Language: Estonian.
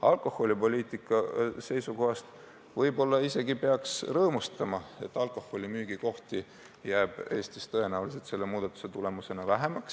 Alkoholipoliitika seisukohast peaks võib-olla isegi rõõmustama, sest tõenäoliselt jääb alkoholimüügi kohti Eestis selle muudatuse tulemusena vähemaks.